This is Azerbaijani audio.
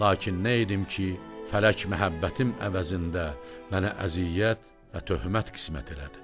Lakin nə edim ki, fələk məhəbbətim əvəzində mənə əziyyət və töhmət qismət elədi.